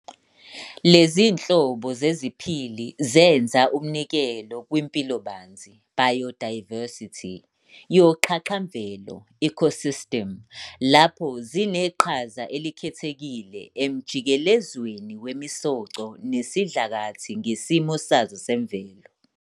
Lezinhlobo zeziphili zenza umnikelo kwimpilobanzi "biodiversity" yoxhaxhamvelo "ecosystem", lapho zineqhaza elikhethekile emjikelezweni wemisoco nesidlakathi ngesimo sazo semvelo.